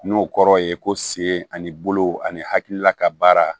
N'o kɔrɔ ye ko sen ani bolo ani hakilila ka baara